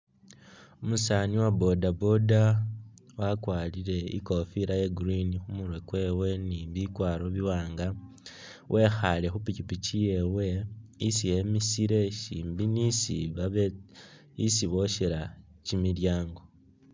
Umusaani wa boda boda wakwarire i'kofila ya green khu murwe ni bikwaro biwaanga wekhaale khu pikipiki yewe, isi emisile syimbi ni isi babe isi bosyela kimilyaango.